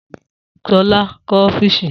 Sola kọ́ ọ́fíìsì